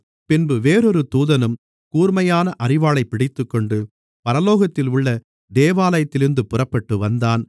பின்பு வேறொரு தூதனும் கூர்மையான அரிவாளைப் பிடித்துக்கொண்டு பரலோகத்திலுள்ள தேவாலயத்திலிருந்து புறப்பட்டுவந்தான்